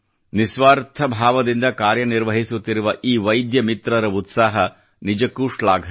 ನಿಸ್ವಾರ್ಥ ಭಾವದಿಂದ ಕಾರ್ಯ ನಿರ್ವಹಿಸುತ್ತಿರುವ ಈ ವೈದ್ಯ ಮಿತ್ರರ ಉತ್ಸಾಹ ನಿಜಕ್ಕೂ ಶ್ಲಾಘನೀಯ